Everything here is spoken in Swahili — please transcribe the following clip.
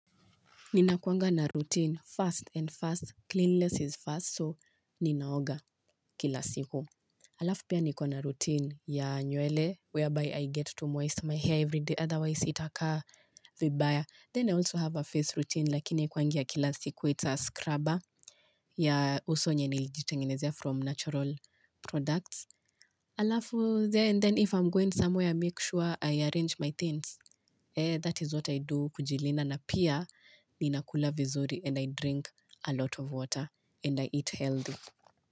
Ninakuanga na routine, fast and fast, cleanliness is fast, so ninaoga kila siku. Alafu pia niko na routine ya nywele whereby I get to moist my hair everyday, otherwise itakaa vibaya. Then I also have a face routine, lakini haikuwangia ya kila siku, it's a scrubber ya uso yenye nilijitengenezea from natural products. Alafu, then if I'm going somewhere, make sure I arrange my things. That is what I do kujilinda na pia ninakula vizuri and I drink a lot of water and I eat healthy.